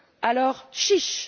Alors, chiche!